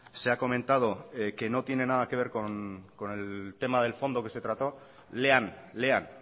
se ha comentado que no tiene nada que ver con el tema del fondo que se trató lean lean